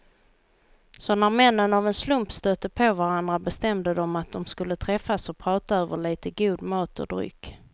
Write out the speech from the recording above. Så när männen av en slump stötte på varandra bestämde de att de skulle träffas och prata över lite god mat och dryck.